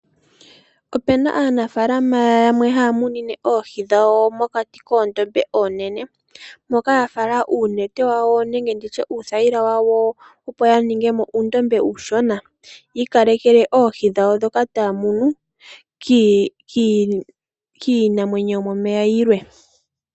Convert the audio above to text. Ope na aanafaalama yamwe haya munine oohi dhawo mokati koondombe oonene, moka ya fala uunete wawo nenge nditye uuthayilwa wawo opo ya ninge mo uundombe uushona. Yi ikalekele oohi dhawo ndhoka taya munu kiinamwenyo yomomeya yilwe.